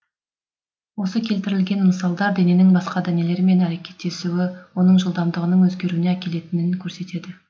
осы келтірілген мысалдар дененің басқа денелермен әрекеттесуі оның жылдамдығының өзгеруіне әкелетінін көрсетеді